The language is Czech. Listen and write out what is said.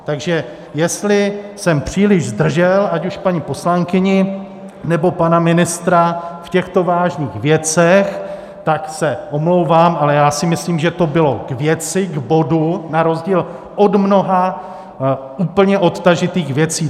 Takže jestli jsem příliš zdržel ať už paní poslankyni, nebo pana ministra v těchto vážných věcech, tak se omlouvám, ale já si myslím, že to bylo k věci, k bodu, na rozdíl od mnoha úplně odtažitých věcí.